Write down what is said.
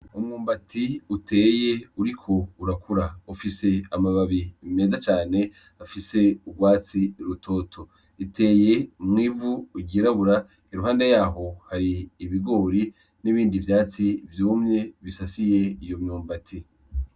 Umwumbati uteye uriko urakura, ufise amababi meza cane afise urwatsi rutoto, uteye mw'ivu ryirabura ,iruhande yaho hari ibigori n'ibindi vyatsi vyumye bisasiye iyo myumbati.